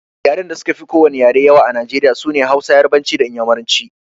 Yaren da suka fi ko wani yare yawa a Najeriya sune Hausa, Yarabanci da Inyamuranci